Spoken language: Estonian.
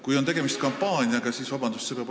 Kui on tegemist kampaaniaga, siis – vabandust!